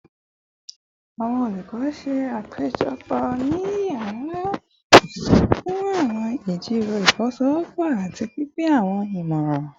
Awọn olukọ ṣe apejọ ni yara oṣiṣẹ fun awọn ijiroro ifowosowopo ati pinpin awọn imọran